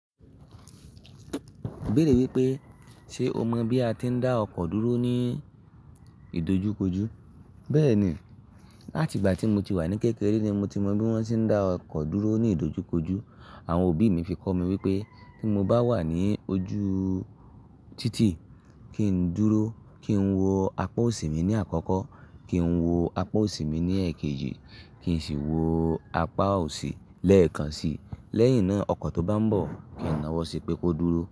Ibéèrè wípé ṣe o mọ bí a ti ń dá ọkọ̀ dúró ní ìdojúkojú? Bẹ́ẹ̀ni, láti ìgbà tí mo ti wà ní kékeré ni mo ti mọ bí wón ti ń dá ọkọ̀ dúró ní ìdojúkojú. Àwọn òbí mi fi kọ́ mi wípé tí mo bá wà ní ojú títì, kí n dúró, kí n wo apá òsì mi ní àkọ́kọ́, kí n wo apá òsì mi ní èkejì, kí n sì wo apá òsì lẹ́ẹ̀kan si. Lẹ́yìn náà, ọkọ̀ tó bá ń bọ̀, kí n nawọ́ síi pé kó dúró.